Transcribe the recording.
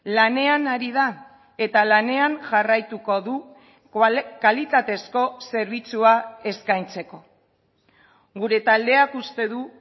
lanean ari da eta lanean jarraituko du kalitatezko zerbitzua eskaintzeko gure taldeak uste du